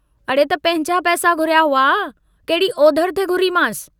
अड़े त पंहिंजा पैसा घुरिया हुआ, कहिड़ी ओधरि थे घुरीमांसि।